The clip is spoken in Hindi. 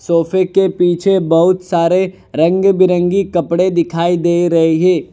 सोफे के पीछे बहुत सारे रंग बिरंगी कपड़े दिखाई दे रहे है।